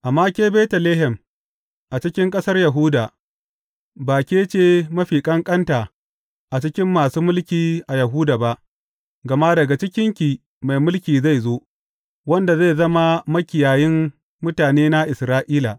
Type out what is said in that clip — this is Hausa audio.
Amma ke Betlehem, a cikin ƙasar Yahuda, ba ke ce mafi ƙanƙanta a cikin masu mulki a Yahuda ba, gama daga cikinki mai mulki zai zo, wanda zai zama makiyayin mutanena Isra’ila.’